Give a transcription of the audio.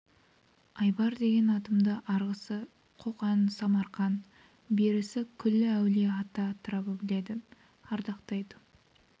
айбар деген атымды арғысы қоқан самарқан берісі күллі әулие-ата атырабы біледі ардақтайды